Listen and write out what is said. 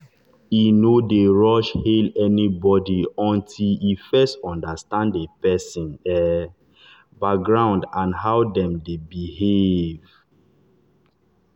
e no dey rush hail anybody until e first understand the person um background and how dem dey behave.